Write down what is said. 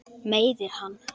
Meiðir hann.